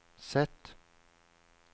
Z